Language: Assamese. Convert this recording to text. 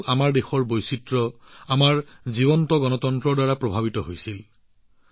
আমাৰ দেশৰ বৈচিত্ৰ্য আৰু আমাৰ সজীৱ গণতন্ত্ৰ দেখি এই প্ৰতিনিধিসকল অতিশয় আপ্লুত হৈছে